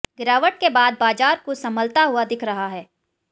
गिरावट के बाद बाजार कुछ संभलता हुआ दिख रहा है